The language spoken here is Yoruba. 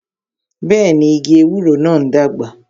Bẹẹni, igi ewúro náà ń dàgbà